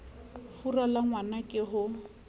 fura la ngwna ke ho